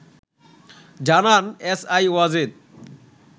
জানান এসআই ওয়াজেদ